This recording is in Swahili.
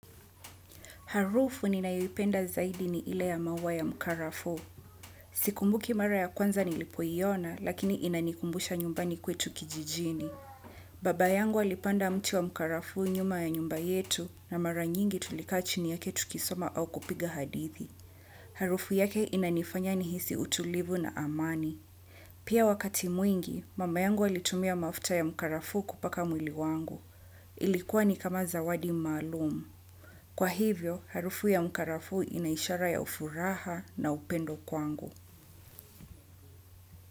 Harufu ninayoipenda zaidi ni ile ya maua ya mkarafuu. Sikumbuki mara ya kwanza nilipoiona, lakini inanikumbusha nyumbani kwetu kijijini. Baba yangu alipanda mti wa mkarafuu nyuma ya nyumba yetu, na mara nyingi tulikaa chini yake tukisoma au kupiga hadithi. Harufu yake inanifanya nihisi utulivu na amani. Pia wakati mwingi, mama yangu alitumia mafuta ya mkarafuu kupaka mwili wangu. Ilikuwa ni kama zawadi maalum. Kwa hivyo, harufu ya mkarafuu ina ishara ya ufuraha na upendo kwangu.